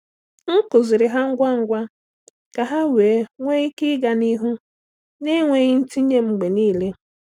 M kụziiri ha ngwa ngwa ka ha wee nwee ike ịga n’ihu na-enweghị ntinye m mgbe niile.